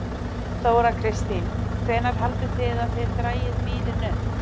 Þóra Kristín: Hvenær haldið þið að þið dragið bílinn upp?